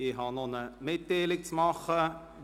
Ich habe noch eine Mitteilung anzubringen.